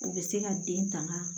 O bɛ se ka den tanga